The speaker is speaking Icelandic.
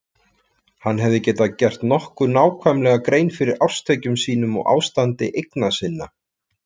Hann hafði getað gert nokkuð nákvæmlega grein fyrir árstekjum sínum og ástandi eigna sinna.